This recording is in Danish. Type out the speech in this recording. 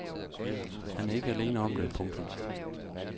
Han er ikke alene om det. punktum